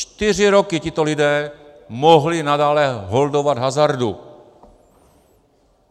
Čtyři roky tito lidé mohli nadále holdovat hazardu.